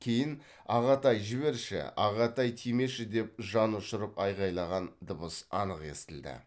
кейін ағатай жіберші ағатай тимеші деп жанұшырып айқайлаған дыбыс анық естілді